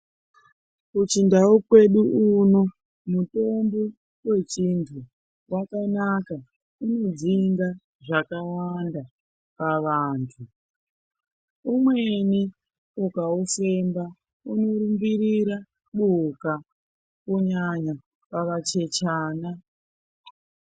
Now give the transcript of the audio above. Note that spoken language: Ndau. Kuchindau kwedu uno mutombo wechindu wakanaka , unodzinga zvakawanda pavantu , umweni ukaufemba unorumbirira buka kunyanya pavachechana.